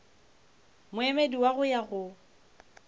moemedi wa go ya go